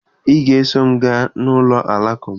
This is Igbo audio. Ị ga-eso m gaa n'ụlọ Alakụba!